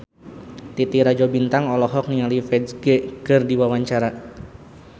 Titi Rajo Bintang olohok ningali Ferdge keur diwawancara